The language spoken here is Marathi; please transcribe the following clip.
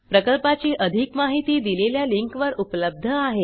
प्रकल्पाची अधिक माहिती दिलेल्या लिंकवर उपलब्ध आहे